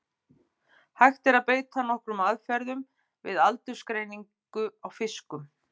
Hægt er að beita nokkrum aðferðum við aldursgreiningu á fiskum.